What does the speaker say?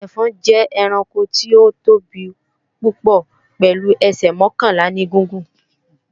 Ẹfọ̀n jẹ́ ẹranko tí ó tóbi púpò pèlu ẹsẹ̀ mọ́kànlá ní gígùn.